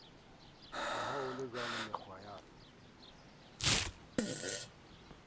le ha ho lejwalo mekgwaena